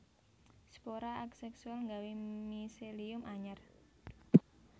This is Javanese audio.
Spora aséksual gawé miselium anyar